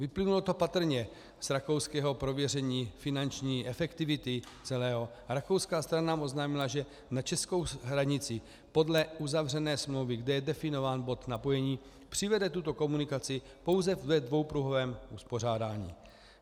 Vyplynulo to patrně z rakouského prověření finanční efektivity celého - rakouská strana nám oznámila, že na českou hranici podle uzavřené smlouvy, kde je definován bod napojení, přivede tuto komunikaci pouze ve dvoupruhovém uspořádání.